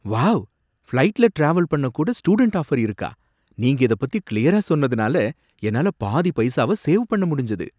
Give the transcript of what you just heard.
Wow! ஃபிளைட்ல travel பண்ணக் கூட ஸ்டூடண்ட் ஆஃபர் இருக்கா! நீங்க இதப் பத்தி கிளியரா சொன்னதுனால என்னால பாதி பைசாவ சேவ் பண்ண முடிஞ்சது!